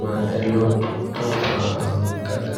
myeloid tó ń fa àrùn gágá?